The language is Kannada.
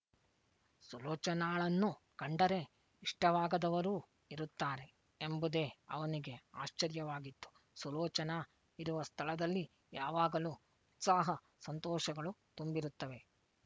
ಸುಲೋಚನಾಳನ್ನು ಕಂಡರೆ ಇಷ್ಟವಾಗದವರೂ ಇರುತ್ತಾರೆ ಎಂಬುದೇ ಅವನಿಗೆ ಆಶ್ಚರ್ಯವಾಗಿತ್ತು ಸುಲೋಚನಾ ಇರುವ ಸ್ಥಳದಲ್ಲಿ ಯಾವಾಗಲೂ ಉತ್ಸಾಹ ಸಂತೋಷಗಳು ತುಂಬಿರುತ್ತವೆ